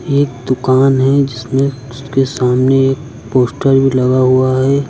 एक दुकान है जिसमें उसके सामने एक पोस्टर भी लगा हुआ है।